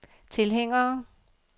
tilhængere